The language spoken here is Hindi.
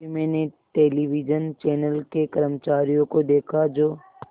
तभी मैंने टेलिविज़न चैनल के कर्मचारियों को देखा जो